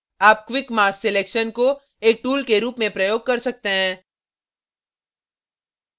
आप quick mass selection को एक tool के रूप में प्रयोग कर सकते हैं